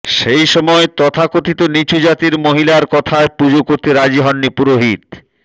সেই সময় তথাকথিত নীচু জাতের মহিলার কথায় পুজো করতে রাজি হননি পুরোহিত